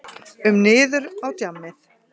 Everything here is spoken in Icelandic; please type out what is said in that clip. um niður á djammið.